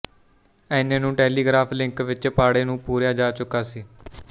ਐਨੇ ਨੂੰ telegraph link ਵਿੱਚ ਪਾੜੇ ਨੂੰ ਪੂਰਿਆ ਜਾ ਚੁੱਕਾ ਸੀ